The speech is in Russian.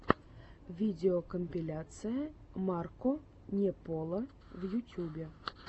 видеокомпиляция марко не поло в ютюбе